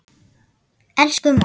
Elsku móðir.